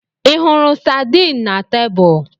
Ị hụrụ sardine na tebụl?